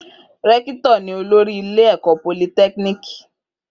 Rẹ́kítọ̀ ni olórí ilé ẹ̀kọ́ politẹ́kíníìkì